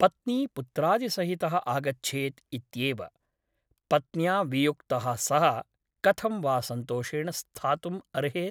पत्नीपुत्रादिसहितः आगच्छेत् इत्येव । पत्न्या वियुक्तः सः कथं वा सन्तोषेण स्थातुम् अर्हेत् ?